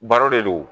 Baro de do